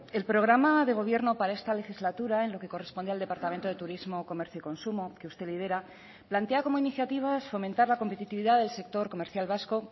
el programa de gobierno para esta legislatura en lo que corresponde al departamento de turismo comercio y consumo que usted lidera plantea como iniciativa fomentar la competitividad del sector comercial vasco